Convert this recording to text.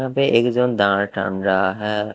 पे एकदम दाण टान रहा है।